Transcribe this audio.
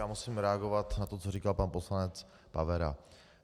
Já musím reagovat na to, co říkal pan poslanec Pavera.